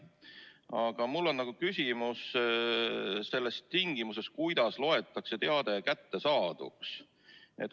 Aga mul on küsimus selle tingimuse kohta, kuidas loetakse teade kättesaaduks.